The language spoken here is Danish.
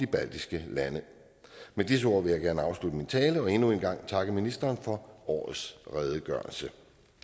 baltiske lande med disse ord vil jeg gerne afslutte min tale og endnu en gang takke ministeren for årets redegørelse